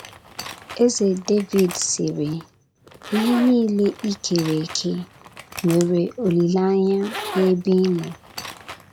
Eze Devid sịrị: “ Ihe niile i kere eke nwere olileanya n’ebe ị nọ. ”